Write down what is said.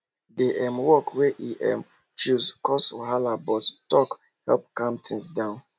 the um work wey e um choose cause wahala but talk help calm things down